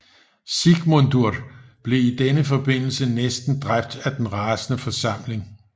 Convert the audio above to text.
Sigmundur blev i denne forbindelse næsten dræbt af den rasende forsamling